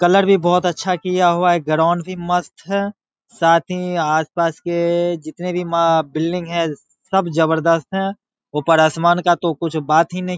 colour भी बहुत अच्छा किया हुआ है ग्राउंड भी मस्त है साथ ही आसपास के जितने भी माँ बिल्डिंग है सब जबरदस्त है ऊपर आसमान का तो कुछ बात ही नहीं --